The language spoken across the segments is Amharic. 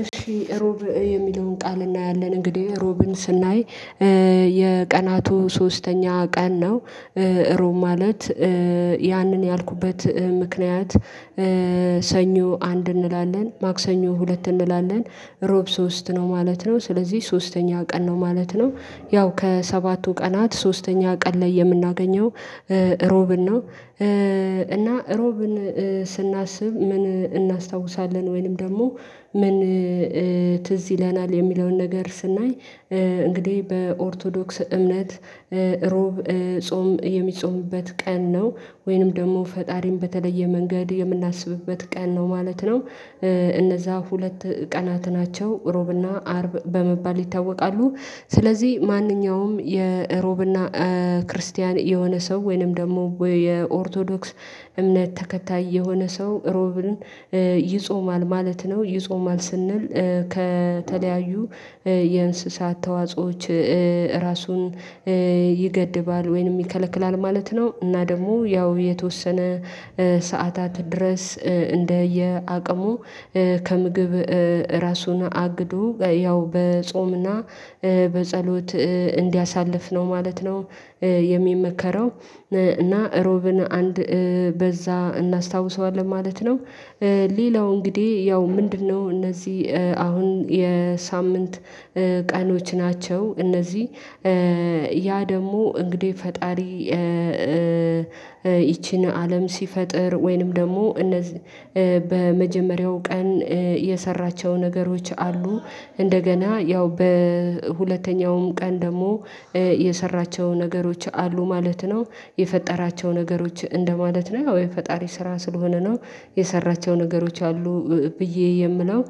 እሺ ሮብ የሚለውን ቃል እናያለን። እንግዲህ ሮብን ስናይ የቀናቱ ሶስተኛ ቀን ነው። ሮብ ማለት ያንን ያልኩበት ምክንያት። ሰኞ አንድ እንላለን ማክሰኞ ሁለት እንላለን። ሮብ ሶስት ነው ማለት ነው ስለዚህ ሶስተኛ ቀን ነው ማለት ነው። ያው ከሰባቱ ቀናት ሶስተኛ ቀን ላይ የምናገኘው ሮብን ነው። እና እሮብን ስናስብ ምን እናስታውሳለን ወይንም ደግሞ ምን ትዝ ይለናል የሚለውን ነገር ስናይ። እንግዲህ በኦርቶዶክስ እምነት ሮብ ጾም የሚጾምበት ቀን ነው። ወይንም ደግሞ ፈጣሪን በተለየ መንገድ የምናስብበት ቀን ነው ማለት ነው። እነዛ ሁለት ቀናት ናቸው እሮብና አርብ በመባል ይታወቃሉ። ስለዚህ ማንኛውም የእሮብና ክርስቲያን የሆነ ሰው ወይንም ደግሞ የኦርቶዶክስ እምነት ተከታይ የሆነ ሰው ሮብልን ይጾማል ማለት ነው። ይጾማል ስንል ከተለያዩ የእንስሳት ተዋጾዎች ራሱን ይገድባል ወይንም ይከለክላል ማለት ነው። እና ደግሞ ያው የተወሰነ ሰዓታት ድረስ እንደየአቅሙ ከምግብ ራሱን አግዶ ያው በጾምና በጸሎት እንዲያሳልፍ ነው ማለት ነው። የሚመከረው እና ሮብን አንድ በዛ እናስታውሰዋለን ማለት ነው። ሌላው እንግዲህ ያው ምንድነው? እነዚህ አሁን የሳምንት ቀኖች ናቸው። እነዚህ ያ ደግሞ እንግዲህ ፈጣሪ። ይቺን አለም ሲፈጥር ወይንም ደግሞ እነዚህ በመጀመሪያው ቀን የሰራቸው ነገሮች አሉ። እንደገና ያው በሁለተኛውም ቀን ደግሞ የሰራቸው ነገሮች አሉ ማለት ነው። የፈጠራቸው ነገሮች እንደማለት ነው ወይ ፈጣሪ ስራ ስለሆነ ነው። የሰራቸው ነገሮች አሉ። ብዬ የምለው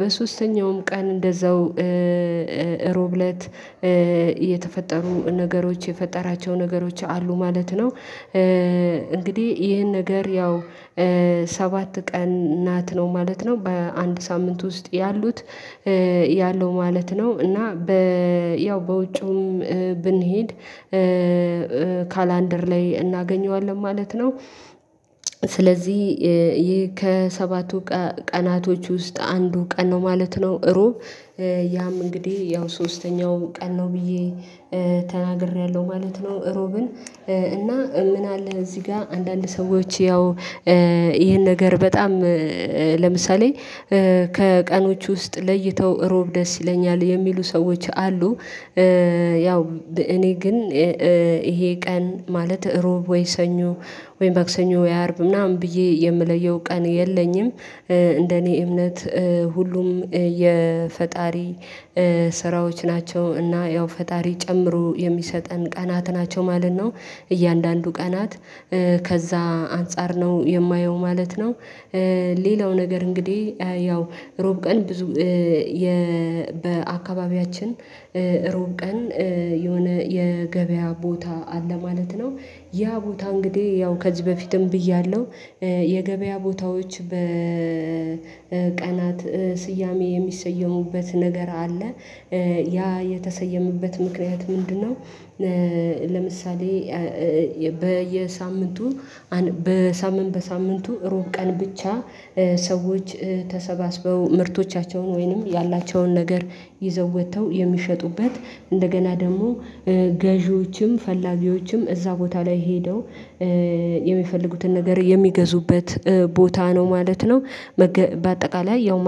በሶስተኛውም ቀን እንደዛው እሮብለት የተፈጠሩ ነገሮች የፈጠራቸው ነገሮች አሉ ማለት ነው። እንግዲህ ይህን ነገር ያው ሰባት ቀን ናት ነው ማለት ነው በአንድ ሳምንት ውስጥ ያሉት ያለው ማለት ነው። እና ያው በውጪውም ብንሄድ ካላንደር ላይ እናገኘዋለን ማለት ነው። ስለዚህ ከሰባቱ ቀናቶች ውስጥ አንዱ ቀን ነው ማለት ነው። እሮብ ያም እንግዲህ ያው ሶስተኛው ቀን ነው ብዬ ተናግሬያለሁ ማለት ነው። እሮብን እና ምን አለ እዚህ ጋር አንዳንድ ሰዎች ያው ይሄን ነገር በጣም ለምሳሌ ከቀኖች ውስጥ ለይተው እሮብ ደስ ይለኛል የሚሉ ሰዎች አሉ። ያው እኔ ግን ይሄ ቀን ማለት ሮብ ወይ ሰኞ ወይ ማክሰኞ ወይ አርብ ምናምን ብዬ የምለየው ቀን የለኝም። እንደኔ እምነት ሁሉም የፈጣሪ ስራዎች ናቸው እና ያው ፈጣሪ ጨምሮ የሚሰጠን ቀናት ናቸው ማለት ነው። እያንዳንዱ ቀናት ከዛ አንፃር ነው የማየው ማለት ነው። ሌላው ነገር እንግዲህ ያው ሮብ ቀን ብዙ በአካባቢያችን እሮብ ቀን የሆነ የገበያ ቦታ አለ ማለት ነው። ያ ቦታ እንግዲህ ያው ከዚህ በፊትም ብያለሁ። የገበያ ቦታዎች በቀናት ስያሜ የሚሰየሙበት ነገር አለ። ያ የተሰየመበት ምክንያት ምንድነው? ለምሳሌ በየሳምንቱ በሳምንት በሳምንቱ ሮብ ቀን ብቻ ሰዎች ተሰባስበው ምርቶቻቸውን ወይንም ያላቸውን ነገር ይዘው ወጥተው የሚሸጡበት እንደገና ደግሞ ገዢዎችም ፈላጊዎችም እዛ ቦታ ላይ ሄደው የሚፈልጉትን ነገር የሚገዙበት ቦታ ነው ማለት ነው። በአጠቃላይ ያው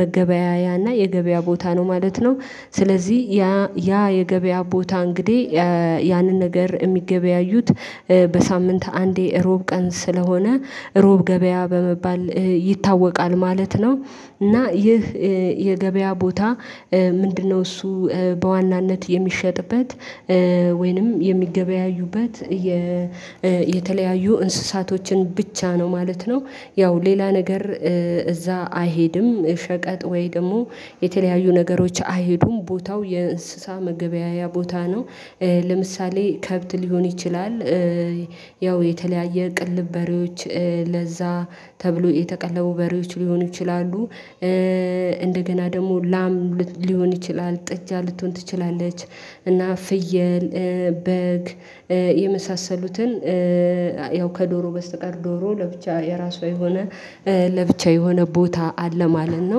መገበያያና የገበያ ቦታ ነው ማለት ነው። ስለዚህ ያ ያ የገበያ ቦታ እንግዲህ ያንን ነገር የሚገበያዩት በሳምንት አንዴ እሮብ ቀን ስለሆነ እሮብ ገበያ በመባል ይታወቃል ማለት ነው። እና ይህ የገበያ ቦታ ምንድነው? እሱ በዋናነት የሚሸጥበት ወይንም የሚገበያዩበት የተለያዩ እንስሳቶችን ብቻ ነው ማለት ነው። ያው ሌላ ነገር እዛ አይሄድም ሸቀጥ ወይ ደግሞ የተለያዩ ነገሮች አይሄዱም ቦታው የእንስሳ መገበያያ ቦታ ነው። ለምሳሌ ከብት ሊሆን ይችላል። ያው የተለያየ ቅልብ በሬዎች ለዛ ተብሎ የተቀለቡ በሬዎች ሊሆኑ ይችላሉ። እንደገና ደግሞ ላም ሊሆን ይችላል ጥጃ ልትሆን ትችላለች። እና ፍየል በግ የመሳሰሉትን ያው ከዶሮ በስተቀር ዶሮ ለብቻ የራሷ የሆነ ለብቻ የሆነ ቦታ አለ ማለት ነው